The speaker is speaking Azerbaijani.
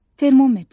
Termometr.